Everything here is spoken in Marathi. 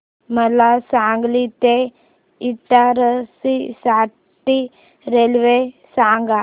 मला सांगली ते इटारसी साठी रेल्वे सांगा